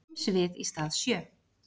fimm svið í stað sjö.